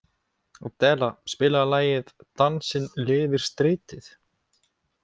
Adela, spilaðu lagið „Dansinn lifir stritið“.